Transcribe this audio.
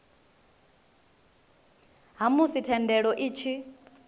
ha musi thendelo i tshi